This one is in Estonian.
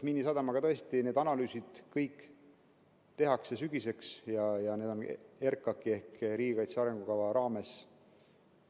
Miinisadama kohta tõesti need analüüsid kõik tehakse sügiseks RKAK‑i ehk riigikaitse arengukava raames.